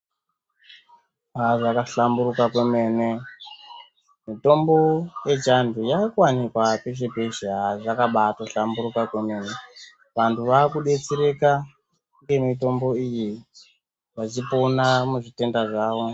Aa zvaka hlamburuka kwemene mitombo yechiandu yaakuwanikwa peshe peshe aa zvakato mbaa hlamburuka kwemene vanthu vakudetsereka ngemitombo iyi vachipona muzvitenda zvavo.